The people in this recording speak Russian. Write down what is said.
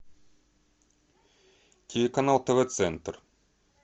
телеканал тв центр